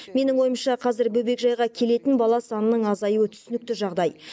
менің ойымша қазір бөбекжайға келетін бала санының азаюы түсінікті жағдай